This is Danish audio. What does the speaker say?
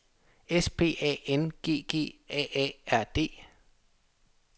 S P A N G G A A R D